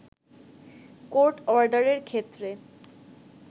court অর্ডারের ক্ষেত্রে